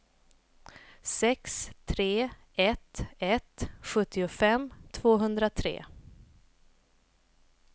sex tre ett ett sjuttiofem tvåhundratre